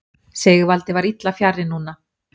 Sigvaldi var illa fjarri núna.